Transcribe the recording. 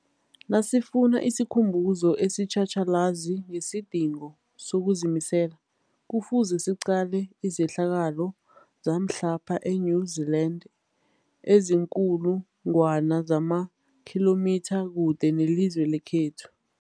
Nasifuna isikhumbuzo esitjhatjhalazi ngesidingo sokuzimisela, Kufuze siqale izehlakalo zamhlapha e-New Zealand eziinkulu ngwana zamakhilomitha kude nelizwe lekhethu.